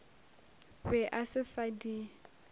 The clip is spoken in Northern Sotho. be a se sa di